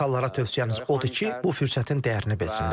Amerikalılara tövsiyəmiz odur ki, bu fürsətin dəyərini bilsinlər.